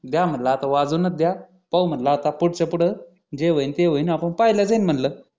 द्या म्हटलं आता वाजवूनच द्या पाहू म्हटलं आता पुढं चं पुढं जे होईल ते होईल आपण पाहिलं जाईल म्हणलं